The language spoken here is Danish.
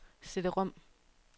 CD-rom